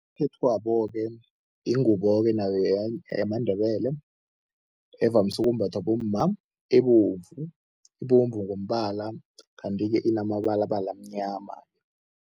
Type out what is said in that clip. Yingubo-ke nayo yamaNdebele evamise ukumbathwa bomma ebovu. Ibovu ngombala kanti-ke inamabalabala amnyama.